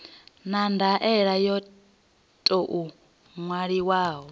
na ndaela yo tou ṅwaliwaho